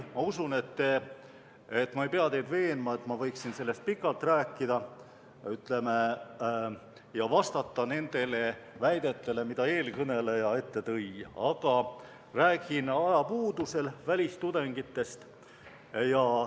Ma usun, et ma ei pea teid veenma, et ma võiksin sellest pikalt rääkida ja vastata nendele väidetele, mida eelkõneleja tõi, aga räägin ajapuudusel vaid välistudengitest.